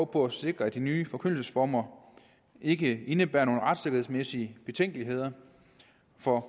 på at sikre at de nye forkyndelsesformer ikke indebærer nogen retssikkerhedsmæssige betænkeligheder for